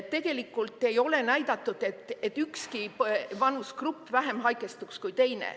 Tegelikult ei ole näidatud, et ükski vanusegrupp teistest vähem haigestuks.